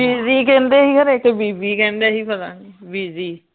ਬੀਜੀ ਕਹਿੰਦੇ ਹੀ ਹਰੇ ਕਿ ਬੀਬੀ ਕਹਿੰਦੇ ਹੀ ਪਤਾਨੀ ਬੀਜੀ